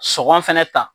Sɔngɔ fɛnɛ ta